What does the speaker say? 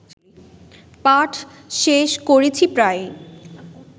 পাঠ শেষ করছি প্রায়